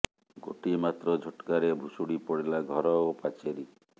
ଗୋଟିଏ ମାତ୍ର ଝଟକାରେ ଭୁଶୁଡି ପଡିଲା ଘର ଓ ପାଚେରୀ